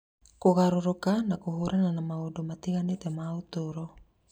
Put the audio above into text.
kũgarũrũka na kũhũrana na maũndũ matiganĩte ma ũtũũro.